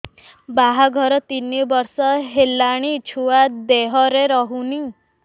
ବାହାଘର ତିନି ବର୍ଷ ହେଲାଣି ଛୁଆ ଦେହରେ ରହୁନି